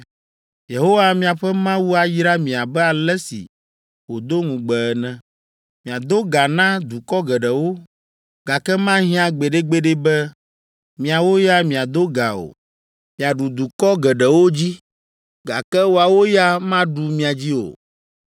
Yehowa miaƒe Mawu ayra mi abe ale si wòdo ŋugbe ene. Miado ga na dukɔ geɖewo, gake mahiã gbeɖegbeɖe be miawo ya miado ga o! Miaɖu dukɔ geɖewo dzi, gake woawo ya maɖu mia dzi o!